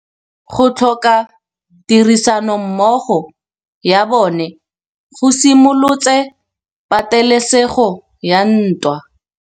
Go tlhoka tirsanommogo ga bone go simolotse patêlêsêgô ya ntwa.